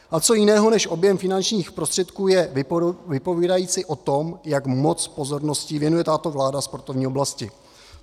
A co jiného než objem finančních prostředků je vypovídající o tom, jak moc pozornosti věnuje tato vláda sportovní oblasti?